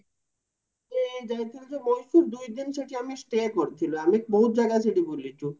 ଏଇ ଯାଇଥିଲୁ ତ ମଏଶ୍ଵର ଦୁଇ ଦିନ ଆମେ ସେଠି stay କରିଥିଲୁ ଆମେ ବୋହୁତ ଜାଗା ସେଠି ବୁଲିଚୁ